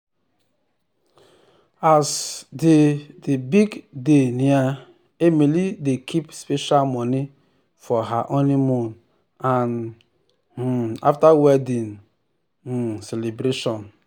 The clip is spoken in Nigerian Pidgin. as di di big day near emily dey keep special money for her honeymoon and um after wedding um celebration.